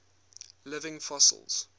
living fossils